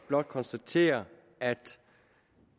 blot konstatere at